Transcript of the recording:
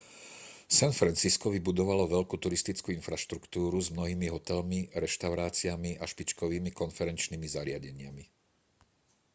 san francisco vybudovalo veľkú turistickú infraštruktúru s mnohými hotelmi reštauráciami a špičkovými konferenčnými zariadeniami